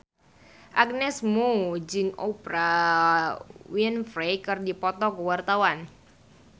Agnes Mo jeung Oprah Winfrey keur dipoto ku wartawan